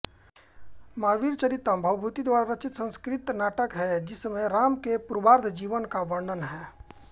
महावीरचरितम् भवभूति द्वारा रचित संस्कृत नाटक है जिसमें राम के पूर्वार्ध जीवन का वर्णन है